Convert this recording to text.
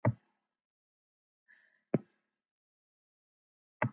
Ég hef aldrei komið í Þjórsárdal, Týri.